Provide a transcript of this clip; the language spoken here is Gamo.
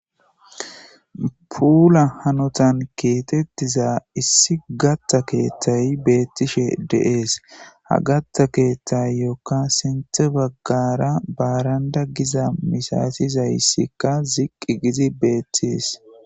Puulla haanotan keexxetida issi gaata keettay bettishe de'es ha gaatta ketayokka sinththera ziiqqi giidii bettiza barandday bettishe de'es